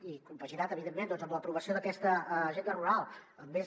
i compaginat evidentment amb l’aprovació d’aquesta agenda rural amb més